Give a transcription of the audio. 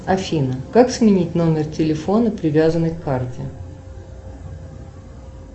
афина как сменить номер телефона привязанный к карте